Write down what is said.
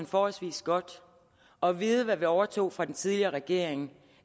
forholdsvis godt og vide hvad vi overtog fra den tidligere regering